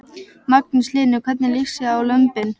Magnús Hlynur: Hvernig líst þér á lömbin?